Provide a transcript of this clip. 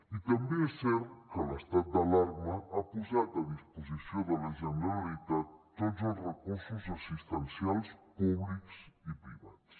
i també és cert que l’estat d’alarma ha posat a disposició de la generalitat tots els recursos assistencials públics i privats